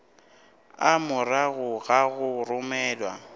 a morago ga go romelwa